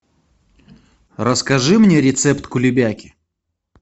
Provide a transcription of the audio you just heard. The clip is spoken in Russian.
расскажи мне рецепт кулебяки